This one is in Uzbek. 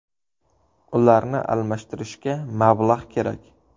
Ularni almashtirishga mablag‘ kerak.